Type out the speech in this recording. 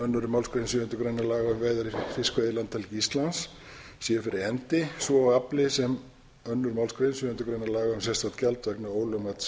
annarri málsgrein sjöundu grein laga um veiðar í fiskveiðilandhelgi íslands sé fyrir hendi svo og afli sem önnur málsgrein sjöundu grein laga um sérstakt gjald vegna ólögmæts sjávarafla